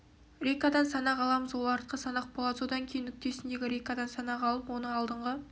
рейкадан санақ аламыз ол артқы санақ болады содан кейін нүктесіндегі рейкадан санақ алып оны алдынғы